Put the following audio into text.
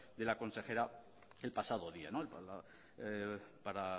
de la consejera el pasado día para